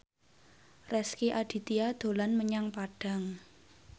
Rezky Aditya dolan menyang Padang